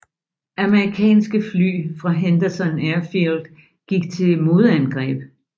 Amerikanske fly fra Henderson Airfield gik til modangreb